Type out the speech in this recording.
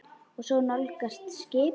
Og svo nálgast skipið.